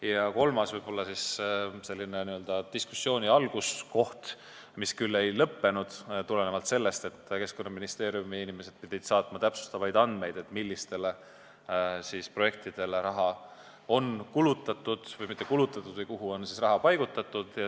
Ja kolmas teema, millest sai diskussioon alguse – arutelu ei lõppenud, sest Keskkonnaministeeriumi inimesed lubasid saata täpsustavaid andmeid –, oli see, millistele projektidele on raha kulutatud, õigemini mitte kulutatud, vaid kuhu on raha paigutatud.